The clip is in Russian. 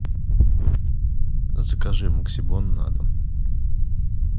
закажи максибон на дом